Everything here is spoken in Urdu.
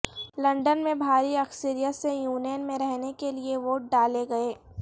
لندن میں بھاری اکثریت سے یونین میں رہنے کے لیے ووٹ ڈالے گئے